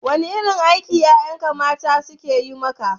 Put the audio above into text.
Wane irin aiki ƴaƴanka mata suke yi maka?